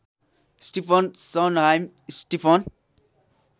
Stephen Sondheim Stephen